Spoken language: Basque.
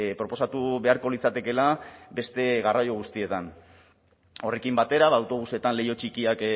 proposatu beharko litzatekeela beste garraio guztietan horrekin batera autobusetan leiho txikiak